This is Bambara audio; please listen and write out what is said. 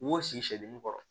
U sigi seli n kɔrɔ